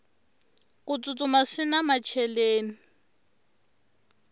ku tsutsuma swina macheleni